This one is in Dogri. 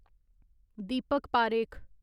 दीपक पारेख